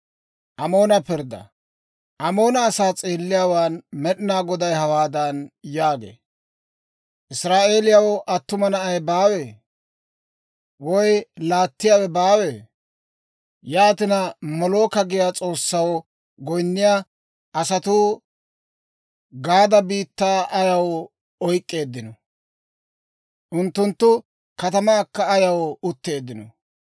Amoona asaa s'eelliyaawaan Med'inaa Goday hawaadan yaagee; «Israa'eeliyaw attuma na'ay baawee? Woy laattiyaawe baawee? Yaatina, Molooka giyaa s'oossaw goyinniyaa asatuu Gaada biittaa ayaw oyk'k'eeddino? Unttunttu katamankka ayaw utteeddino?